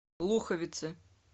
луховицы